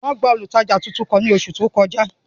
Wọn gba olutaja tuntun kan ni oṣu to kọja.